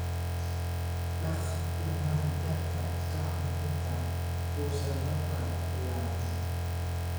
Dhaqa dhammaan dharka ka hor inta uusan roobku bilaabmin